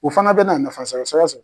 O fana bɛ na nafasɔrɔ sira sɔrɔ.